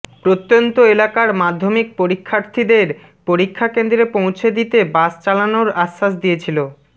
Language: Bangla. প্রত্যন্ত এলাকার মাধ্যমিক পরীক্ষার্থীদের পরীক্ষা কেন্দ্রে পৌঁছে দিতে বাস চালানোর আশ্বাস দিয়েছিল